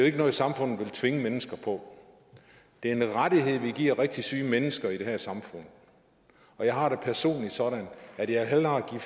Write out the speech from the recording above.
ikke noget samfundet vil tvinge mennesker på det er en rettighed vi giver rigtig syge mennesker i det her samfund og jeg har det personligt sådan at jeg hellere vil